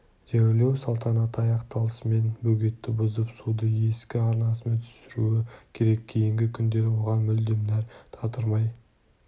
жерлеу салтанаты аяқталысымен бөгетті бұзып суды ескі арнасына түсіруі керек кейінгі күндері оған мүлдем нәр татырмай